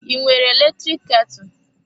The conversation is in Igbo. I nwere eletrik ketụ?